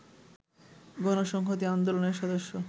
গণসংহতি আন্দোলনের সদস্য